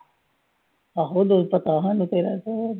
ਆਹੋ ਲੋਕ ਤਾਂ ਪਹਿਲਾਂ ਨਿਕਲਦੇ ਆ ਘਰ ਤੋਂ।